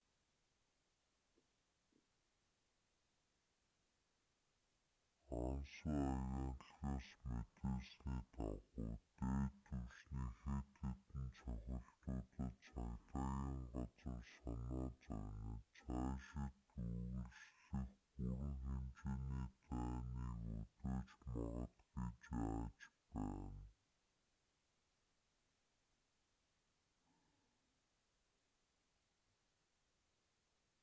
анса агентлагаас мэдээлсний дагуу дээд түвшний хэд хэдэн цохилтуудад цагдаагийн газар санаа зовниж цаашид үргэлжлэх бүрэн хэмжээний дайныг өдөөж магад гэж айж байсан